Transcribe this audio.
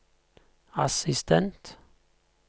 assistent